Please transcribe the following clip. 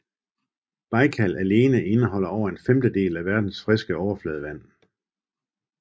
Bajkal alene indeholder over en femtedel af verdens friske overfladevand